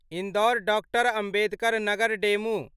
Indore doctor Ambedkar Nagar DEMU